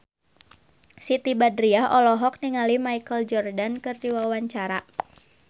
Siti Badriah olohok ningali Michael Jordan keur diwawancara